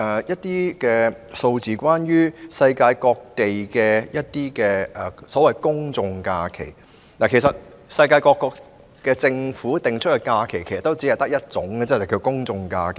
有關世界各地的公眾假期，其實，世界各國政府訂立的假期只有一種，便是公眾假期。